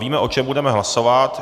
Víme, o čem budeme hlasovat.